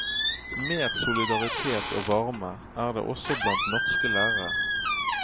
Mer solidaritet og varme er det også blant norske lærere.